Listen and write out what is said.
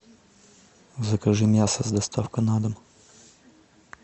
закажи мясо с доставкой на дом